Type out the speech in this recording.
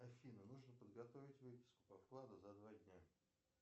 афина нужно подготовить выписку по вкладу за два дня